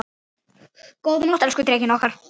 Góða nótt, elsku Drekinn okkar.